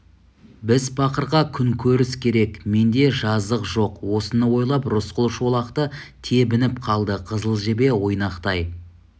біз пақырға күнкөріс керек менде жазық жоқ осыны ойлап рысқұл шолақты тебініп қалды қызыл жебе ойнақтай